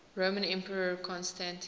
roman emperor constantine